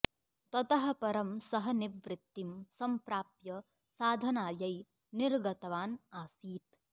ततः परं सः निवृत्तिं सम्प्राप्य साधनायै निर्गतवान् आसीत्